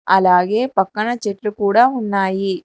అలాగే పక్కన చెట్టు కూడా ఉన్నాయి.